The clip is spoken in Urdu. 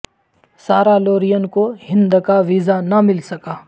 سارہ لورین کو ہند کا ویزا نہ مل سکا